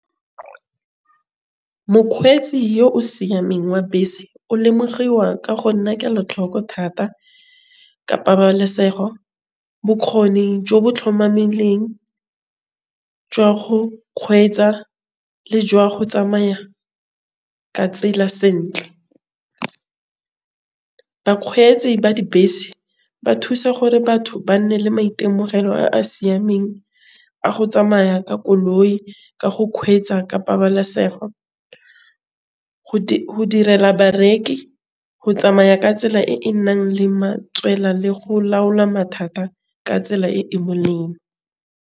Mokgweetsi yo o siameng wa bese o lemogiwa ka go nna kelo tlhoko thata ka pabalesego. Bokgoni bo jo bo jwa go kgwetsa le jwa go tsamaya ka tsela sentle. Bakgweetsi ba dibese ba thusa gore batho ba nne le maitemogelo a siameng a go tsamaya ka koloi ka go kgweetsa ka pabalesogo. Go direla bareki, go tsamaya ka tsela le go mathata ka tsela e .